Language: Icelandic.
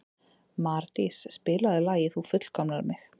Mardís, spilaðu lagið „Þú fullkomnar mig“.